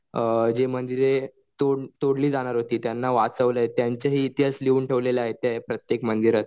अ जे मंदिरे तोडली जाणार होती त्यांना वाचवलंय त्यांचं ही इतिहास लिहून ठेवला आहे प्रत्येक मंदिरात.